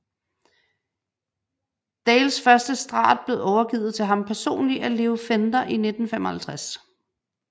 Dales første Strat blev overgivet til ham personligt af Leo Fender i 1955